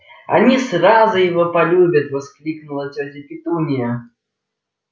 они сразу его полюбят воскликнула тётя петунья